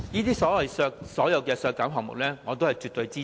對所有這些削減項目，我絕對支持。